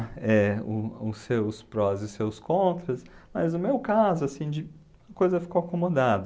É, o os seus prós e os seus contras, mas no meu caso, assim de, a coisa ficou acomodada.